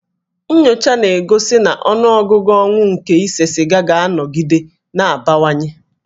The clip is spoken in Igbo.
Nnyocha na-egosi na ọnụọgụgụ ọnwụ nke ise siga ga-anọgide na-abawanye